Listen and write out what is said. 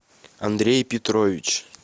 андрей петрович